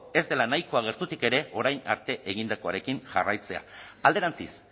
ez dela nahikoa gertutik ere orain arte egindakoarekin jarraitzea alderantziz